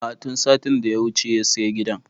A'a tun satin da ya wuce ya saya gidan